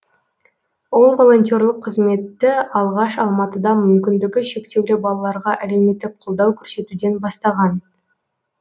ол волонтерлық қызметті алғаш алматыда мүмкіндігі шектеулі балаларға әлеуметтік қолдау көрсетуден бастаған